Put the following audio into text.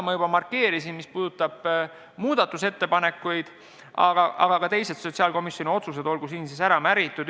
Muudatusettepanekutesse puutuvat ma juba markeerisin, aga ka teised sotsiaalkomisjoni otsused olgu siin ära märgitud.